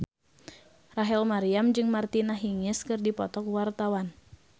Rachel Maryam jeung Martina Hingis keur dipoto ku wartawan